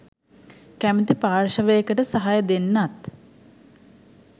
කැමති පාර්ශ්වයකට සහය දෙන්නත්